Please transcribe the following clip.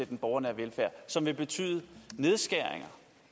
den borgernære velfærd og som vil betyde nedskæringer og